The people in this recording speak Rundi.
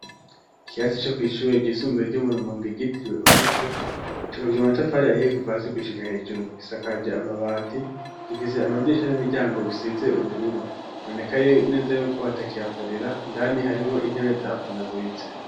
Ikyatsi co kwisshuye ryisumbuye ry'umurumongo igitiriwe umuco cobagija umatapfari ahiye kuvasi kuishika hejuru gisakaje amabati gifise amadisha n'imiryango bisize ubururu boneka neza yuko batakiyakorera indani harimwo intebe zapunaguritse.